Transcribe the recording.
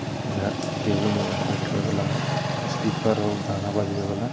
इधर टेबूल उबुल बैठे वैला हो इस्पीकर हो गाना बजबे बला।